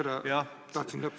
Seda ma tahtsingi öelda.